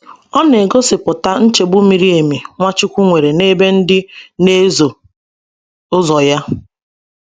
Ọ na - egosipụta nchegbu miri emi Nwachukwu nwere n’ebe ndi n'ezo ụzọ ya